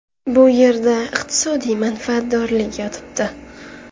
Bu yerda iqtisodiy manfaatdorlik yotibdi.